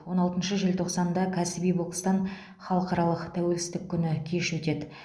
он алтыншы желтоқсанда кәсіби бокстан халықаралық тәуелсіздік күні кеші өтеді